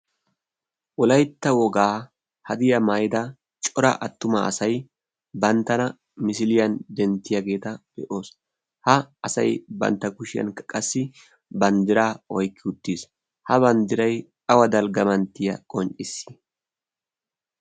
wolaytta wogaa hadiya maida cora attuma asai banttana misiliyan denttiyaageeta be'oos. ha asai bantta kushiyan qassi banddira oykki uttiis ha banddirai awa dalggamanttiya qoncisii?